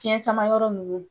Fiyɛn sama yɔrɔ ninnu